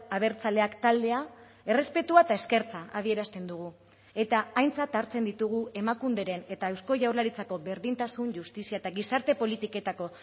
abertzaleak taldea errespetua eta eskertza adierazten dugu eta aintzat hartzen ditugu emakunderen eta eusko jaurlaritzako berdintasun justizia eta gizarte politiketako